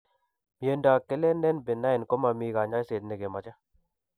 Miondo kelenen benign, ko mami kanyaiset negemache